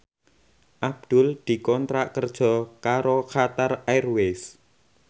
Abdul dikontrak kerja karo Qatar Airways